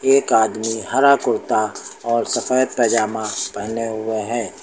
एक आदमी हरा कुर्ता और सफेद पजामा पहने हुए है।